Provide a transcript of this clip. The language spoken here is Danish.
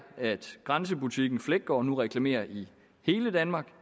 at grænsebutikken fleggaard nu reklamerer i hele danmark